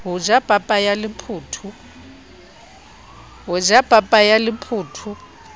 ho ja papa ya lephotho